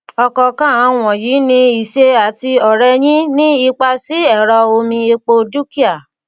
ọkọọkan àwọn wọnyí ní ìṣe àti ọrẹyìn ní ipá sí ẹrọ omi epo dúkìá